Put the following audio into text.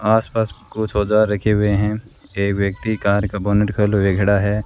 आसपास कुछ औजार रखे हुए हैं ए व्यक्ति कार का बोनट खोले हुए खड़ा है।